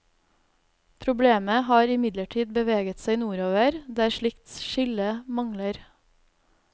Problemet har imidlertid beveget seg nordover, der slikt skille mangler.